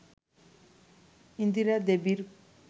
ইন্দিরা দেবীর